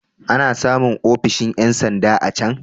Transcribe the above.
Ana samun ofishin ƴan sanda a can.